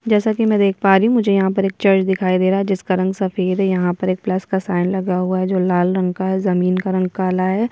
जैसा कि मैं देख पा रही हूँ मुझे यहाँ पर एक चर्च दिखाई दे रहा है जिसका रंग सफ़ेद है यहाँ पर एक प्लस का साइन लगा हुआ है जो लाल रंग का है जमीन का रंग काला है।